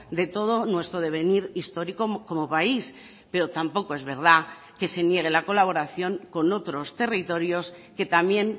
de todo nuestro devenir histórico como país pero tampoco es verdad que se niegue la colaboración con otros territorios que también